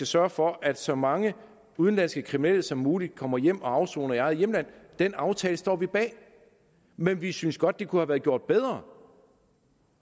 sørget for at så mange udenlandske kriminelle som muligt kommer hjem og afsoner i eget hjemland den aftale står vi bag men vi synes godt det kunne have været gjort bedre